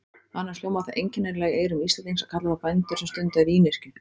Annars hljómar það einkennilega í eyrum Íslendings að kalla þá bændur sem stunda vínyrkju.